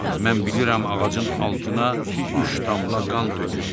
Mən bilirəm ağacın altına üç damla qan tökülüb.